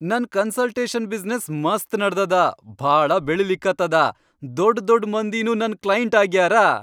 ನನ್ consultation business ಮಸ್ತ್ ನಡದದ ಭಾಳ ಬೆಳಿಲಿಕತ್ತದ, ದೊಡ್ ದೊಡ್ ಮಂದಿನೂ ನನ್ ಕ್ಲೈಂಟ್ ಆಗ್ಯಾರ.